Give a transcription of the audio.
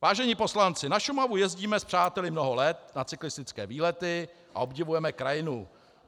"Vážení poslanci, na Šumavu jezdíme s přáteli mnoho let na cyklistické výlety a obdivujeme krajinu.